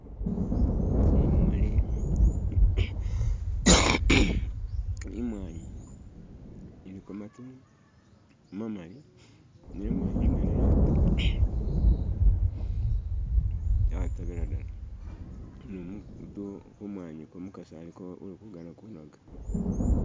Tsimuli imwanyi iliko matu mamali ne mwanyi idala yatoba yatobela dala nu mutu kumwanyiku umukasi aliko ulikugana kunoga